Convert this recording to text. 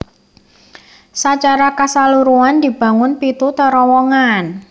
Sacara kasaluruhan dibangun pitu terowongan